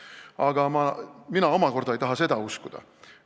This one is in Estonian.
Aga mina tegelikult ei taha seda uskuda.